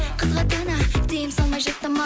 қызға ата ана тыйым салмай жата ма